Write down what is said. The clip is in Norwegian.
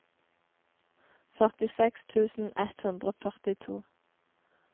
førtiseks tusen ett hundre og førtito